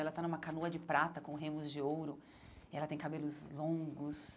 Ela está numa canoa de prata com remos de ouro e ela tem cabelos longos.